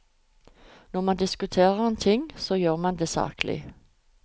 Når man diskuterer en ting, så skal man gjøre det saklig.